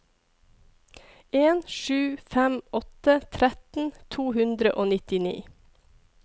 en sju fem åtte tretten to hundre og nittini